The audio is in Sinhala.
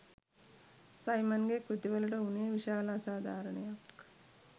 සයිමන්ගේ කෘතිවලට වුනේ විශාල අසාධාරණයක්